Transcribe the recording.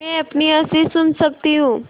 मैं अपनी हँसी सुन सकती हूँ